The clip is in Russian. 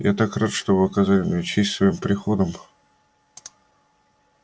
я так рад что вы оказали мне честь своим приходом